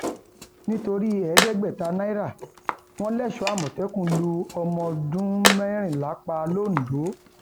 nítorí ẹẹdẹgbẹta náírà wọn lẹṣọọ àmọtẹkùn lu ọmọọdún mẹrìnlá pa lọńdọ